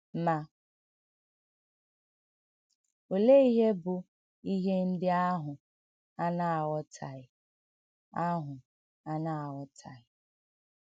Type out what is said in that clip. Mà òlee íhè bụ̀ íhè ǹdí àhụ̀ hà nà-àghọ̀tàghì? àhụ̀ hà nà-àghọ̀tàghì?